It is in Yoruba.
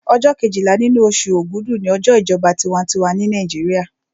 Ọjọ́ kejìlá nínú oṣù ògúdù ni ọjọ́ ìjọba tinwatinwa ní Nàìjíríà